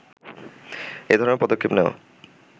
এধরনের পদক্ষেপ নেয়া